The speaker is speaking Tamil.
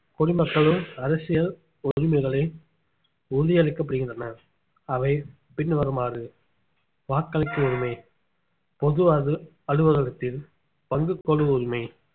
குடிமக்களும் அரசியல் உரிமைகளை உறுதி அளிக்கப்படுகின்றன அவை பின்வருமாறு வாக்களிக்க உரிமை பொதுவாக அலுவலகத்தில் பங்கு கொள்ளும் உரிமை